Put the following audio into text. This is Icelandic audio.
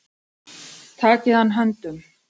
Takið hann höndum.